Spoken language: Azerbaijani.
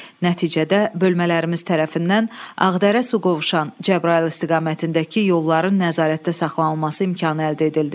Nəticədə bölmələrimiz tərəfindən Ağdərə, Suqovuşan, Cəbrayıl istiqamətindəki yolların nəzarətdə saxlanılması imkanı əldə edildi.